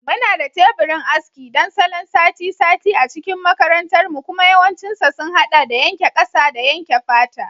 Muna da teburin aski don salon sati-sati a cikin makarantarmu kuma yawancinsa sun haɗa da yanke ƙasa da yanke fata.